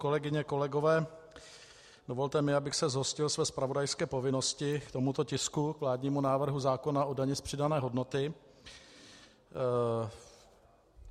Kolegyně, kolegové, dovolte mi, abych se zhostil své zpravodajské povinnosti k tomuto tisku, k vládnímu návrhu zákona o dani z přidané hodnoty.